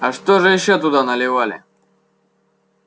а что же ещё туда наливали